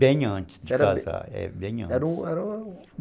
Bem antes de casar, é, bem antes.